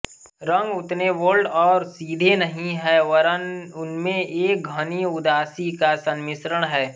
रंग उतने बोल्ड और सीधे नहीं है वरन् उनमें एक घनी उदासी का संमिश्रण है